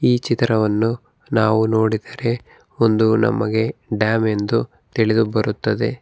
ಈ ಚಿತ್ರವನ್ನು ನಾವು ನೋಡಿದರೆ ಒಂದು ನಮಗೆ ಡ್ಯಾಮ್ ಎಂದು ತಿಳಿದು ಬರುತ್ತದೆ.